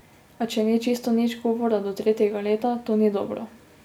A če ni čisto nič govora do tretjega leta, to ni dobro.